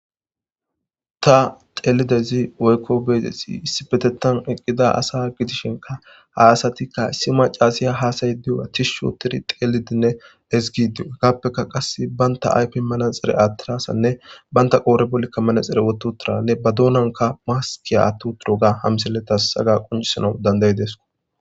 Ta teelidaydzi woykko be'idaysi issipetethan eqqida asa gidishinkka ha asatikka issi maccasiya haasa'aydiyoga tishshj oothidi teelidinne ezgidi hagapeka qasse banta ayfiya manaxire aathira asanne banta qoodhe bollikka manaxire wothi uttida ba doonankka maskiya aathi uttidoga ha misiley taas haga qonccisanaw danda'ides.